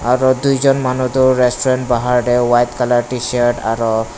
aro tuichon manu toh restaurant bahar teh white colour T shirt aro.